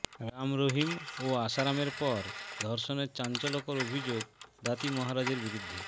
রাম রহিম ও আসারামের পর ধর্ষণের চাঞ্চল্যকর অভিযোগ দাতি মহারাজের বিরুদ্ধে